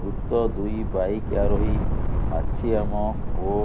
ମୃତ ଦୁଇ ବାଇକ ଆରୋହୀ ମାଛିଆମ ଓ